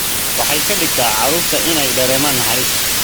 Waxay ka dhigtaa carruurta inay dareemaan naxariis.